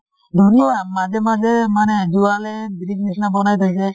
ধুনীয়া। মাজে মাজে মানে যোৱালে bridge নিছিনা বনাই থৈছে